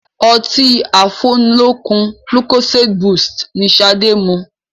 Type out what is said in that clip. Ọtí afúnilókun lucozade boost ni ṣade mu